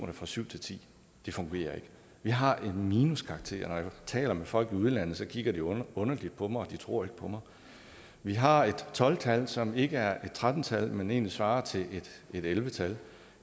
er fra syv til tiende det fungerer ikke vi har en minuskarakter når jeg taler med folk i udlandet kigger de underligt på mig de tror ikke på mig vi har et tolv tal som ikke er et tretten tal men egentlig svarer til et elleve tal